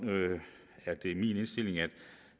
min indstilling at